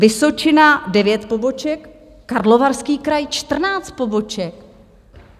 Vysočina 9 poboček, Karlovarský kraj 14 poboček.